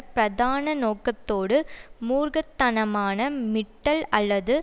பிரதான நோக்கத்தோடு மூர்க்க தனமான மிட்டல் அல்லது